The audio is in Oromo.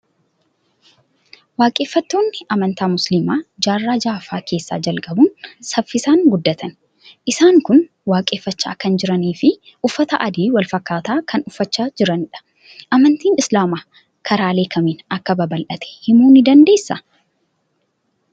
Waaqeffattoonni amantaa musliimaa jaarraa ja'affaa keessa jalqabuun saffisaan guddatani. Isaan kun waaqeffachaa kan jiranii fi uffata adii wal fakkaataa kan uffachaa jiranidha. Amantiin islaamaa karaalee kamiin akka babal'ate himuu ni dandeessaa?